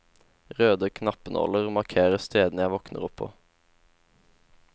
Røde knappenåler markerer stedene jeg våkner opp på.